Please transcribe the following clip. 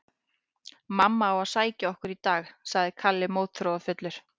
Mamma á að sækja okkur í dag, sagði Kalli mótþróafullur.